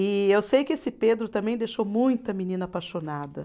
E eu sei que esse Pedro também deixou muita menina apaixonada.